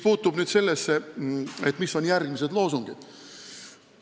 Nüüd sellest, millised on järgmised loosungid.